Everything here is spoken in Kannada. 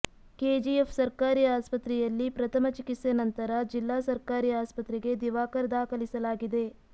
ಕೆಜಿಎಫ್ ಸರ್ಕಾರಿ ಆಸ್ಪತ್ರೆಯಲ್ಲಿ ಪ್ರಥಮ ಚಿಕಿತ್ಸೆ ನಂತರ ಜಿಲ್ಲಾ ಸರ್ಕಾರಿ ಆಸ್ಪತ್ರೆಗೆ ದಿವಾಕರ್ ದಾಖಲಿಸಲಾಗಿದೆ